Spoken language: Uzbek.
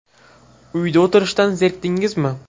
Uyda o‘tirishdan zerikdingizmi?